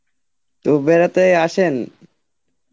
তো বেড়াতে আসেন?